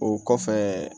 O kɔfɛ